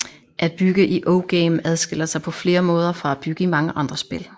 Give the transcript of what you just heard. At bygge i OGame adskiller sig på flere måder fra at bygge i mange andre spil